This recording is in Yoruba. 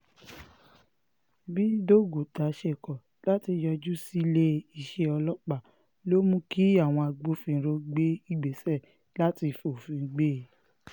bí doguta ṣe kọ̀ láti yọjú sílé iṣẹ́ ọlọ́pàá ló mú kí àwọn agbófinró gbé ìgbésẹ̀ láti fòfin gbé e